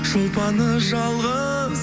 шолпаны жалғыз